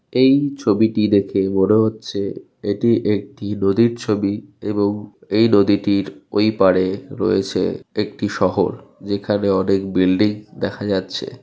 এই ছবিটি দেখে মনে হচ্ছে এটি একটি নদীর ছবি এবং এই নদীটির ওইপারে রয়েছে একটি শহর। যেখানে অনেক বিল্ডিং দেখা যাচ্ছে।